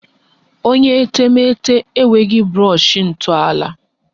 Onye etemeete enweghi brọshị ntọala